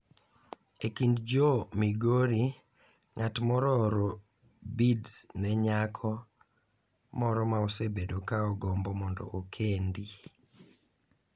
E kind jo Migori, ng’at moro ooro beads ne nyako moro ma osebedo ka ogombo mondo okend.